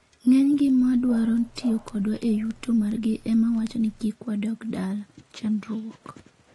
"ng'eny gi madwaro tiyo kodwa e yuto margi emawacho ni kik wadog dala(chandruok)